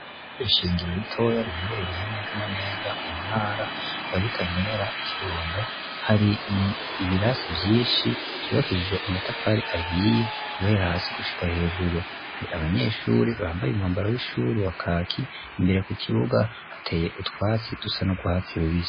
Iura shingiro ritoya riherereye mezana neza mu ntara yabutanyerera ukiundo hari ibirasi vyinshi vyubakishije amatafari ahiye gubera hasi gushika hejuru hari abanyeshuri bambaye umwambaro w'ishuri wa kaki imbere ku kibuga hateye utwatsi dusa n'ugw hatsi bubiza.